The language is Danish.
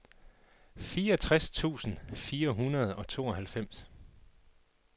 fireogtres tusind fire hundrede og tooghalvfems